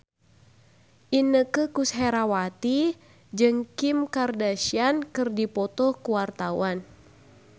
Inneke Koesherawati jeung Kim Kardashian keur dipoto ku wartawan